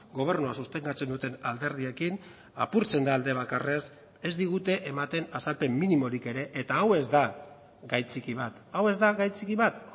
gobernua sostengatzen duten alderdiekin apurtzen da alde bakarrez ez digute ematen azalpen minimorik ere eta hau ez da gai txiki bat hau ez da gai txiki bat